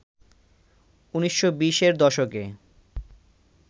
১৯২০র দশকে